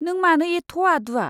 नों मानो एथ' आदुआ?